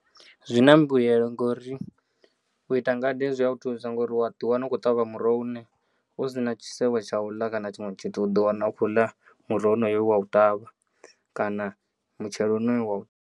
Zwina mbuyelo ngori uita ngade zwi yau thusa ngauri uya ḓiwana u khou ṱavha muroho une u si na tshisevho tsha uḽa kana tshiṅwe tshithu uḓo wana u khou ḽa muroho honoyo we wa u ṱavha kana mutshelo wonoyo we wa u.